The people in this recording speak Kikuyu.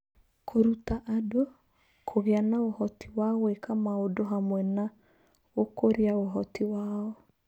Kũruta andũ (kũgĩa na ũhoti wa gwĩka maũndũ hamwe na gũkũria ũhoti wao)